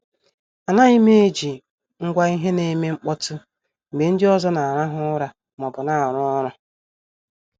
Anaghim eji ngwa ihe na- eme mkpọtụ mgbe ndị ọzọ na-arahu ura maọbụ na-aru ọrụ.